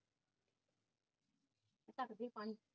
ਦੀਦੀ ਪਾਣੀ